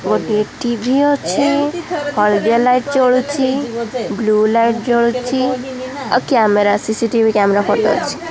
ଗୋଟିଏ ଟି_ଭି ଅଛି ହଳଦିଆ ଲାଇଟ୍ ଜଳୁଚି ବ୍ଲୁ ଲାଇଟ୍ ଜଳୁଚି ଆଉ କ୍ୟାମେରା ସି_ସି_ଟି_ଭି କ୍ୟାମେରା ଫଟ ଅଛି।